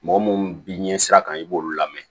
Mɔgɔ munnu bi ɲɛ sira kan i b'olu lamɛn